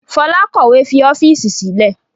Fola kọ̀wé fi ọ́fíìsì sílẹ̀